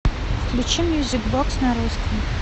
включи мьюзик бокс на русском